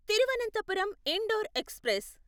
Thiruvananthapuram Indore express